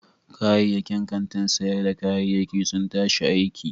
Kayayyakin kantin sayar da kayayyaki sun tashi aiki.